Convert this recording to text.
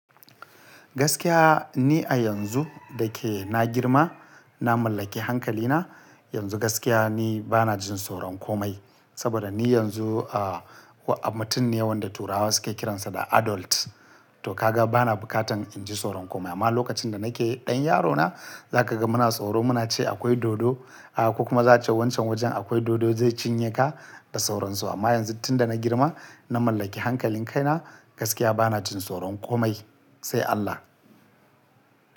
Gaskiya ni a yanzu da yake na girma, na mallaki hankali na. Yanzu gaskiya ni bana jin tsoron komai. Saboda ni yanzu ah mutum ne wanda turawa suke kiransa da adult. To kaga bana bukatan in ji tsoron komai. Amma lokacin da nake ɗan yarona, za ka ga muna tsoro. Muna ce akwai dodo. A'a, kuma za a ce wancan wajen akwai dodo, zai cinye ka, da tsoron su. Amma yanzu tunda na girma, na mallaki hankalin kaina, gaskiya bana jin tsoron komai, sai Allah.